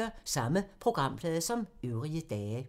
Samme programflade som øvrige dage